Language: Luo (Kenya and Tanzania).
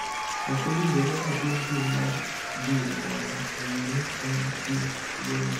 Ok owinjore otim pim mar gene mondo ong’e ni en gi tuwono.